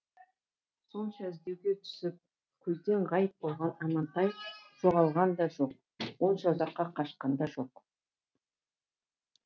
сонша іздеуге түсіп көзден ғайып болған амантай жоғалған да жоқ онша ұзаққа қашқан да жоқ